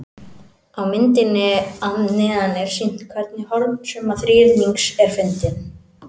Á myndinni að neðan er sýnt hvernig hornasumma þríhyrnings er fundin.